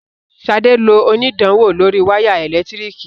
Sade ló onidanwo lórí waya elekitiriki.